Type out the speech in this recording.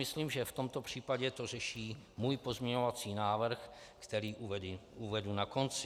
Myslím, že v tom případě to řeší můj pozměňovací návrh, který uvedu na konci.